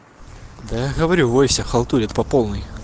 да я говорю в войсе халтурят по полной